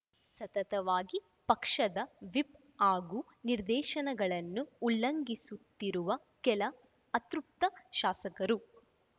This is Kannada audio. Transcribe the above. ಸತತವಾಗಿ ಪಕ್ಷದ ವಿಪ್‌ ಹಾಗೂ ನಿರ್ದೇಶನಗಳನ್ನು ಉಲ್ಲಂಘಿಸುತ್ತಿರುವ ಕೆಲ ಅತೃಪ್ತ ಶಾಸಕರು